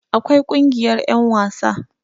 akwai Kungiyar yan wasa